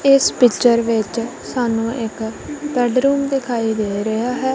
ਏਸ ਪਿਕਚਰ ਵਿੱਚ ਸਾਨੂੰ ਇੱਕ ਬੇਡਰੂਮ ਦਿਖਾਈ ਦੇ ਰਿਹਾ ਹੈ।